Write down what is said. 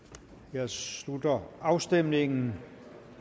jeg slutter afstemningen